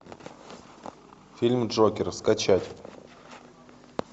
фильм джокер скачать